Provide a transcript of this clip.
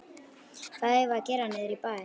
Hvað eigum við að gera niðri í bæ?